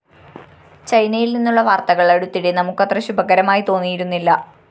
ചൈനയില്‍ നിന്നുള്ള വാര്‍ത്തകള്‍ അടുത്തിടെ നമുക്കത്ര ശുഭകരമായി തോന്നിയിരുന്നില്ല